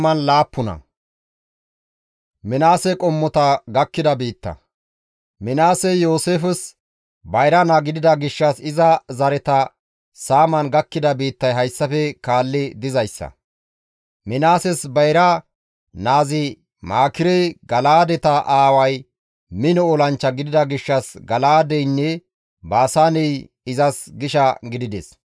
Minaasey Yooseefes bayra naa gidida gishshas iza zareta saaman gakkida biittay hayssafe kaalli dizayssa; Minaases bayra naazi Maakirey Gala7aadeta aaway mino olanchcha gidida gishshas Gala7aadeynne Baasaaney izas gisha gidides.